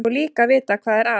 Og líka að vita hvað er að.